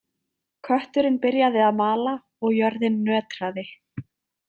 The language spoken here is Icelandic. Kötturinn byrjaði að mala og jörðin nötraði.